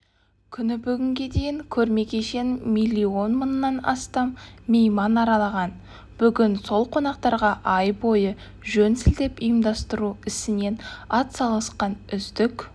күні бүгінге дейін көрме кешенін миллион мыңнан астам мейман аралаған бүгін сол қонақтарға ай бойы жөн сілтеп ұйымдастыру ісіне атсалысқан үздік